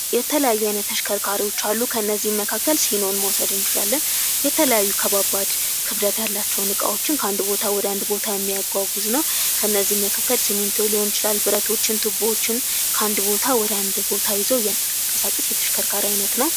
የተለያዩ የተሽከርካሪዎች አሉ ከነዚህ ይመካከል ሲኖን መጥቀስ እንችላለን የተለያዩ ክብደት ያላቸው እንቃዎችን ከአንድ ቦታ ወደ አንድ ቦታ የሚጓጉዝ ነው። ከባባድ ሊሆን ይችላል ብረቶችን ከአንድ ቦታ ወደ ሌላ ቦታ ይዘው የሚጓጉዝ የተሽከርካሪ አይነት ነው።